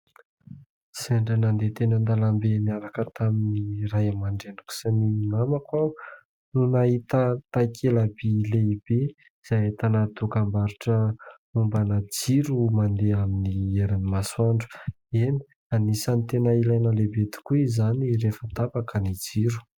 Sendra nandeha teny an-dalam-be niaraka tamin'ny Ray aman-dReniko sy ny namako aho no nahita takelaby lehibe izay ahitana dokam-barotra mombana jiro mandeha amin'ny herin'ny masoandro, eny anisany tena ilaina lehibe tokoa izany rehefa tapaka ny jiro.